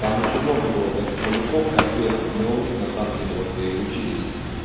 там очень много было таких мужиков конкретных мы у них на самом деле вот и учились